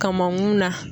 Kamakun na